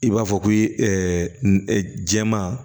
I b'a fɔ ko jɛman